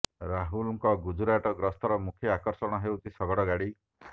ରାହୁଲଙ୍କ ଗୁଜୁରାଟ ଗସ୍ତର ମୁଖ୍ୟ ଆକର୍ଷଣ ହେଉଛି ଶଗଡ଼ ଗାଡ଼ି